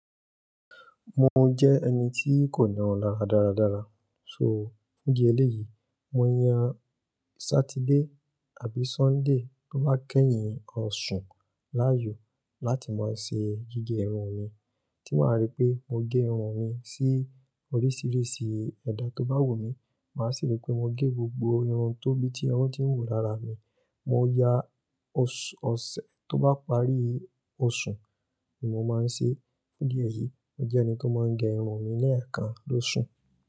Mo jẹ́ ẹni tí kò ní irun lára dáradára, so fún ìdí eléyì mo yan Saturday àbí Sunday tó bá kẹ́yìn oṣù láàyò láti máa ṣe gígé irun mi tí màá rí pé mo gé irun mi sí oríṣìíríṣìí ẹ̀dà tó bá wù mí, màá sì rí pé mo gé gbogbo irun tó bí tí wọn tí ń wù lára mi. Mo ya ọ̀sẹ̀ tó bá parí Ọ̀ṣùn ni mo máa ń ṣe. Fún ìdí èyí, mo jẹ́ ẹni tó máa ń gẹ irun mi lẹ́ẹ̀kan lóṣù.